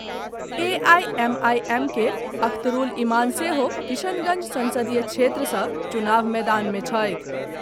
A I M I M के अख्तरूल इमान सेहो किशनगंज संसदीय क्षेत्र सॅ चुनाव मैदान मे छथि।